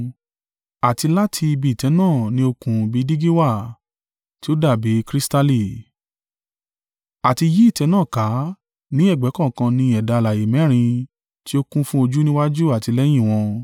Àti láti ibi ìtẹ́ náà ni òkun bi dígí wà tí o dàbí kristali. Àti yí ìtẹ́ náà ká ní ẹ̀gbẹ́ kọ̀ọ̀kan ni ẹ̀dá alààyè mẹ́rin tí ó kún fún ojú níwájú àti lẹ́yìn wọn.